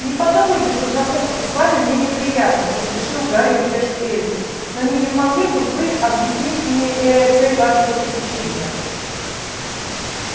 не подумайте что знакомство с вами мне неприятно поспешил гарри утешить эльфа но не могли бы вы объяснить мне э-э цель вашего посещения